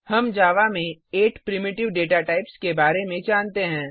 हम जावा में 8 प्राइमिटिव प्राथमिक डेटा टाइप के बारे में जानते हैं